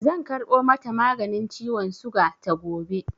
Zan karɓo mata maganin ciwon suga ta gobe.